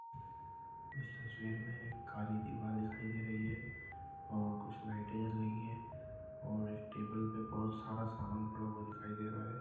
इस तस्वीर मे एक काली दीवार दिखाई दे रही है और कुछ लाइटे जल रही है और एक टेबल पे बहुत सारा सामान पड़ा हुआ दिखाई दे रहा है।